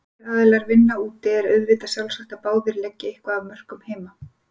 Ef báðir aðilar vinna úti er auðvitað sjálfsagt að báðir leggi eitthvað af mörkum heima.